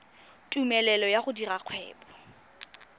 tumelelo ya go dira kgwebo